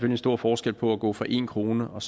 en stor forskel på at gå fra en kroner og